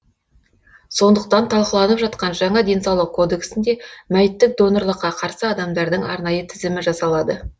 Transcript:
сондықтан талқыланып жатқан жаңа денсаулық кодексінде мәйіттік донорлыққа қарсы адамдардың арнайы тізімі жасалады